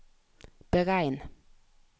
beregn